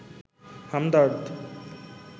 Hamdard